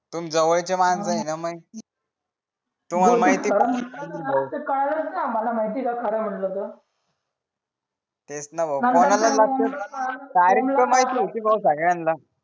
तुम्ही जवळचे माणस आहे न मये तुम्हाला माहिती आम्हाला माहितीच आहे खर म्हटल तर तेच न भाऊ तारिख तर माहिती होती भाऊ सगळ्यांना